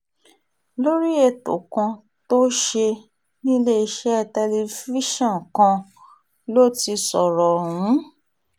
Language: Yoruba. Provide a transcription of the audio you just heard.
lórí ètò kan tó ṣe níléeṣẹ́ tẹlifíṣọ̀n kan ló ti sọ̀rọ̀ ọ̀hún